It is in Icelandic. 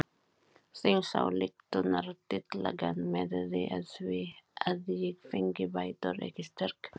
Þingsályktunartillagan miðaði að því að ég fengi bætur ekki styrk!